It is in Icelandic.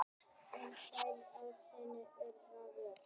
En þær þrifust hins vegar vel